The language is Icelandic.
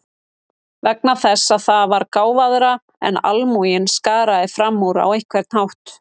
Vegna þess að það var gáfaðra en almúginn, skaraði fram úr á einhvern hátt.